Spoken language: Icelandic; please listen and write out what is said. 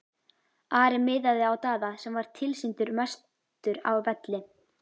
Ari miðaði á Daða sem var tilsýndar mestur á velli.